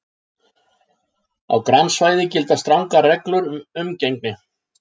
Á grannsvæði gilda strangar reglur um umgengni.